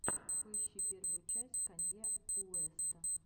поищи первую часть канье уэста